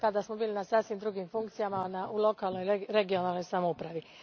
Tada smo bili na sasvim drugim funkcijama, u lokalnoj, regionalnoj samoupravi.